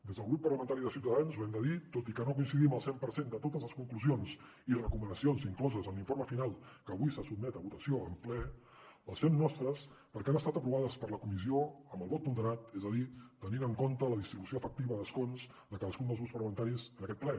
des del grup parlamentari de ciutadans ho hem de dir tot i que no coincidim al cent per cent amb totes les conclusions i recomanacions incloses en l’informe final que avui se sotmet a votació en ple les fem nostres perquè han estat aprovades per la comissió amb el vot ponderat és a dir tenint en compte la distribució efectiva d’escons de cadascun dels grups parlamentaris en aquest ple